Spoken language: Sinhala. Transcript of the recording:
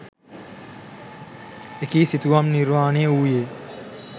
එකී සිතුවම් නිර්මාණය වූයේ